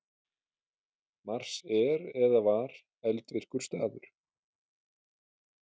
Mars er eða var eldvirkur staður.